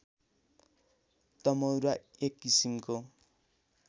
तमौरा एक किसिमको